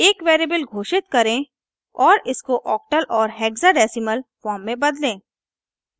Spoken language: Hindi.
एक वेरिएबल घोषित करें और इसको octal और hexadecimal फॉर्म में बदलें